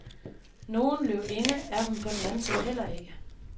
Nogen løvinde er hun på den anden side ikke.